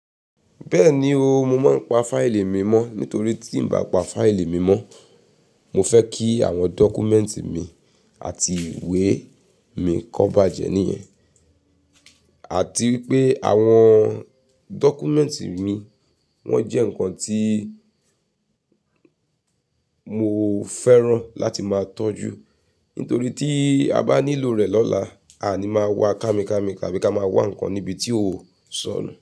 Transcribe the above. Bẹ́ẹ̀ni o, mo máa ń pa fáìlì mi mọ́ nítorí tí n bá pa fáìlì mi mọ́, mo fẹ́ kí àwọn dọ́kúmẹ́ǹtì mi àti ìwé mi kó bàjẹ́ níyẹn. Àti wípé àwọn dọ́kúmẹ́ǹtì mi, wọ́n jẹ́ nǹkan tí mo fẹ́ràn láti máa tọ́jú nítorí tí a bá nílò rẹ̀ lọ́la, a ni máa wá kámi kámi tàbí ká máa wá nǹkan níbi tí ó sọnù.